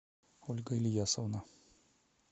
ольга ильясовна